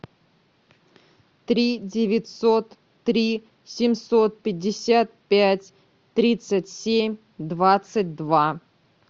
три девятьсот три семьсот пятьдесят пять тридцать семь двадцать два